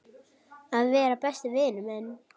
Að vera besti vinur minn.